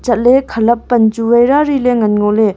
chatley khalap pan chu wai rari ley ngan ngo ley.